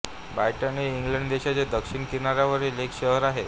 brighten हे England देशाच्या दक्षिण किनाऱ्यावरील एक शहर आहे